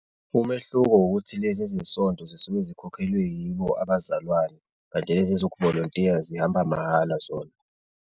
Umehluko ukuthi lezi ezesonto zisuke zikhokhelwe yibo abazalwane, kanti lezi ezokuvolontiya zihamba mahhala zona.